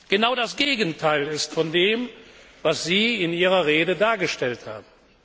genau das Gegenteil von dem ist, was Sie in Ihrer Rede dargestellt haben.